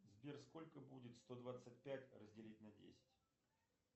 сбер сколько будет сто двадцать пять разделить на десять